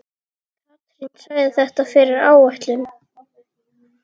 Katrín sagði þetta fyrri áætlun.